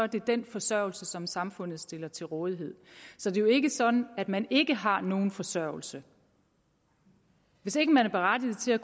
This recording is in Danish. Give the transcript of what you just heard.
det den forsørgelse som samfundet stiller til rådighed så det er jo ikke sådan at man ikke har nogen forsørgelse hvis ikke man er berettiget til at